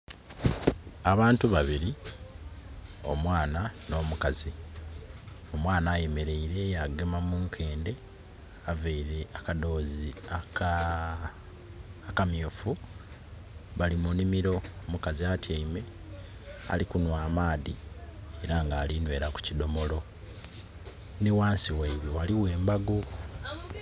Abantu babiri, omwana no mukazi. Omwana ayemereire ya gema munkende avaire akadoozi akamyufu. Bali munimiro. Omukazi atiame alikunwa amaadhi era nga alinwera kukidomolo. Ni ghansi waibwe waliwo embago